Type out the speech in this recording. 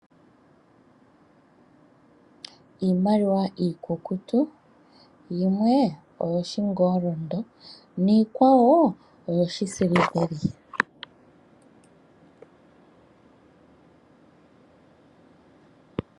Iimaliwa iikukutu. Yimwe oyoshingolondo niikwawo oyoshisiliveli.